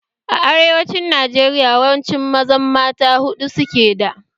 A arewacin Najeriya yawancin mazan mata huɗu suke da